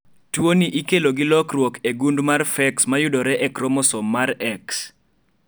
tuoni ikelo gi lokruok e gund mar PHEX mayudore e kromosom mar x